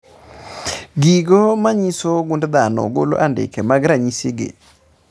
Gigo manyiso gund dhano golo andike mag ranyisi gi